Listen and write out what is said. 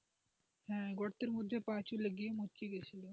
হ্যাঁ গর্তের মধ্যে পা চলে গিয়ে মুচকি গেছিল।